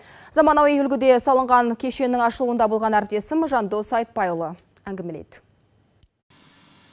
заманауи үлгіде салынған кешеннің ашылуында болған әріптесім жандос айтбайұлы әңгімелейді